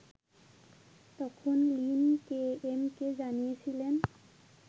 তখন লিন কেএমকে জানিয়েছিলেন